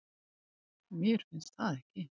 Mér finnst það ekki.